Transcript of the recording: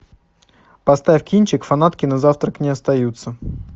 поставь кинчик фанатки на завтрак не остаются